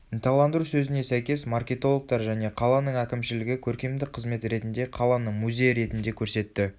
ынталандыру сөзіне сәйкес маркетологтар және қаланың әкімшілігі көркемдік қызмет ретінде қаланы музей ретінде көрсетті